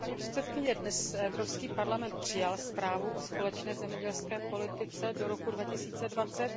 Paní předsedající, dnes Evropský parlament přijal zprávu o společné zemědělské politice do roku 2020.